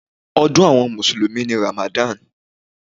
Ọdún àwọn mùsùlùmí ni Ramadan.